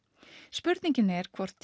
spurningin er hvort